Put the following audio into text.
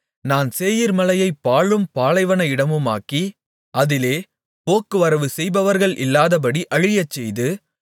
நான் சேயீர்மலையைப் பாழும் பாலைவன இடமுமாக்கி அதிலே போக்குவரவு செய்பவர்கள் இல்லாதபடி அழியச்செய்து